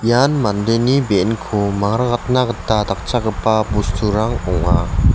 ian mandeni be·enko mangrakatna gita dakchakgipa bosturang ong·a.